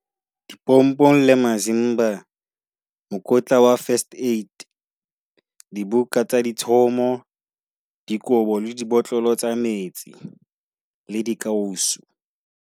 Dipompong le masimba, mokotla wa first aid, dibuka tsa ditshomo, dikobo le dibotlolo tsa metsi le dikausu.